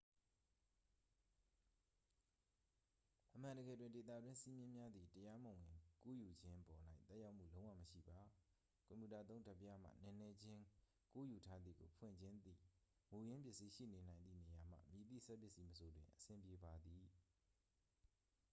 အမှန်တကယ်တွင် ဒေသတွင်းစည်းမျဉ်းများသည် တရားမဝင်ကူးယူခြင်းပေါ်၌ သက်ရောက်မှုလုံးဝမရှိပါ ကွန်ပြူတာသုံး ဓာတ်ပြားမှ နည်းနည်းချင်းကူးယူထားသည်ကို ဖွင့်ခြင်းသည့် မူရင်းပစ္စည်းရှိနေနိုင်သည့်နေရာမှ မည်သည့်စက်ပစ္စည်းမဆိုတွင် အဆင်ပြေပါသည်